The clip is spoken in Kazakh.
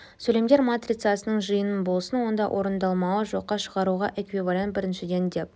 сөйлемдер матрицасының жиыны болсын онда орындалмауы жоққа шығаруына эквивалент біріншіден деп